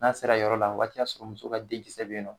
N'a ser'a yɔrɔ la o wagati y'a sɔrɔ muso ka den kisɛ be yen nɔ.